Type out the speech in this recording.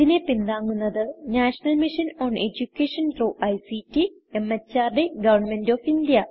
ഇതിനെ പിന്താങ്ങുന്നത് national mission on education through ICT MHRD government of India